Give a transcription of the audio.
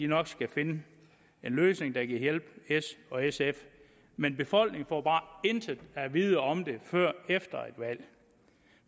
nok skal finde en løsning der kan hjælpe s og sf men befolkningen får bare intet at vide om det før efter et valg